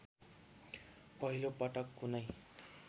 पहिलो पटक कुनै